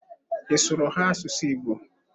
Ị sụụrụ ha asụsụ Igbo?